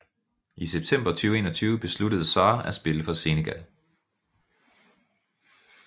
I september 2021 besluttede Sarr at spille for Senegal